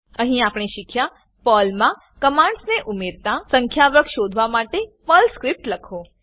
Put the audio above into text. અહીં આપણે શીખ્યા પર્લ મા કમાંડસ ને ઉમેરતા સંખ્યા વર્ગ શોધવા માટે પર્લ સ્ક્રિપ્ટ લખો